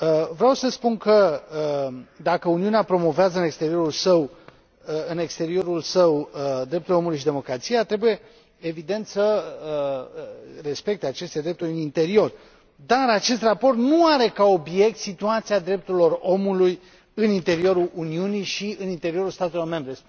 Vreau să spun că, dacă Uniunea promovează în exteriorul său drepturile omului și democrația, trebuie, evident, să respecte aceste drepturi în interior, dar acest raport nu are ca obiect situația drepturilor omului în interiorul Uniunii și în interiorul statelor membre.